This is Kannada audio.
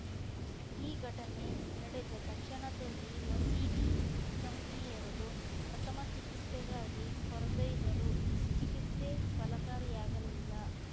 ಈ ಘಟನೆ ನಡೆದ ತಕ್ಷಣದಲ್ಲಿ ಮಸೀದಿ ಸಮಿತಿಯವರು ಪ್ರಥಮ ಚಿಕಿತ್ಸೆಗಾಗಿ ಕೋರ್ದೊಯ್ದರೂ ಚಿಕಿಸ್ತೆ ಫಲಕಾರಿಯಾಗಲಿಲ್ಲ